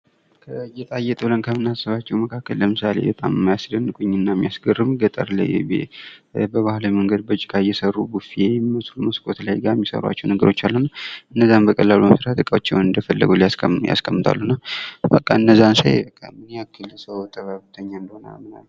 ጌጣጌጥ ብለን ከምናስባቸው መካከል በጣም የሚያስደንቁኝና የሚያስገርሙኝ ገጠር ላይ በባህላዊ መንገድ ከጭቃ እየሰሩ ቡፌ የሚመስሉ መስኮት ጋር የሚሰሩዋቸው ነገሮች አሉ። እነዛን በቀላሉ በመስራት እቃዎችን እንደፈለጉ ያስቀምጣሉና እነዛን ሳይ በቃ ምን ያክል ሰው ጥበበኛ እንደሆነ አምናለሁ።